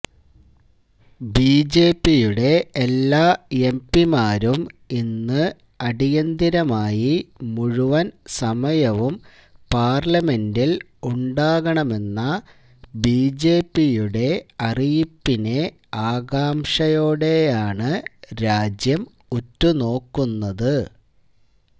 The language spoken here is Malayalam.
ബിജെപിയുടെ എല്ലാ എംപിമാരും ഇന്ന് അടിയന്തരമായി മുഴുവൻ സമയവും പാർലമെൻ്റിൽ ഉണ്ടാകണമെന്ന ബിജെപിയുടെ അറിയിപ്പിനെ ആകാംഷയോടെയാണ് രാജ്യം ഉറ്റുനോക്കുന്നത്